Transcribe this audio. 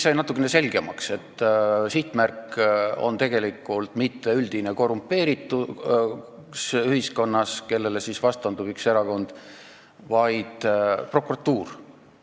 Sai natukene selgemaks, et sihtmärk ei ole tegelikult mitte ühiskonna üldine korrumpeeritus, millele vastandub üks erakond, vaid prokuratuur.